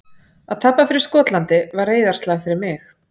Að tapa fyrir Skotlandi var reiðarslag fyrir mig.